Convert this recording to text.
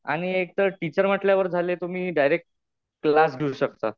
आणि एक तर टीचर म्हटल्यावर झाले तुम्ही डायरेक्ट क्लास घेऊ शकता.